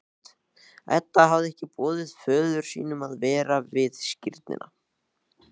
Edda hafði ekki boðið föður sínum að vera við skírnina.